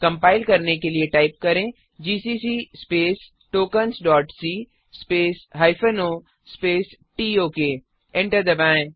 compile करने के लिए टाइप करें जीसीसी tokensसी o टोक एंटर दबाएं